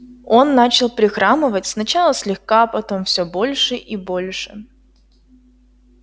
он начал прихрамывать сначала слегка потом всё больше и больше